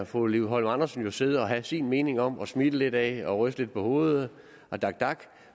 fru liv holm andersen jo sidde og have sin mening om og smile lidt af og ryste lidt på hovedet af dak dak